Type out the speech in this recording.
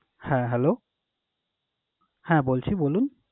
হ্যাঁ hello হ্যাঁ বলছি। বলুন?